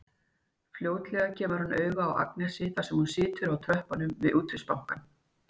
Fljótlega kemur hann auga á Agnesi þar sem hún situr á tröppunum við Útvegsbankann.